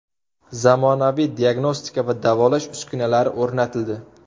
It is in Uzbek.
Zamonaviy diagnostika va davolash uskunalari o‘rnatildi.